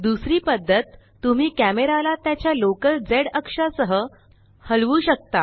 दुसरी पद्धत तुम्ही कॅमेराला त्याच्या लोकल zअक्षा सह हलवू शकता